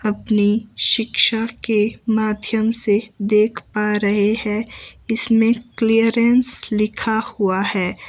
अपने शिक्षा के माध्यम से देख पा रहे हैं इसमें क्लीयरेंस लिखा हुआ है।